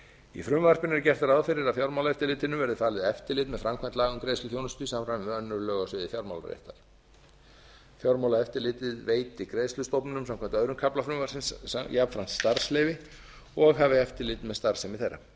í frumvarpinu er gert ráð fyrir að fjármálaeftirlitinu verði falið eftirlit með framkvæmd laga um greiðsluþjónustu í samræmi við önnur lög á sviði fjármálaréttar fjármálaeftirlitið veiti greiðslustofnunum samkvæmt öðrum kafla frumvarpsins jafnframt starfsleyfi og hafi eftirlit með starfsemi þeirra